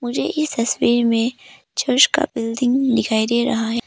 मुझे इस तस्वीर में चर्च का बिल्डिंग दिखाई दे रहा है।